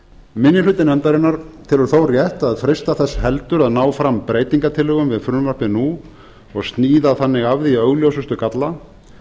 minni hluti nefndarinnar telur þó rétt að freista þess heldur að ná fram breytingartillögum við frumvarpið nú og sníða þannig af því augljósustu galla